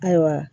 Ayiwa